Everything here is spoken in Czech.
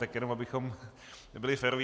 Tak jenom abychom byli féroví.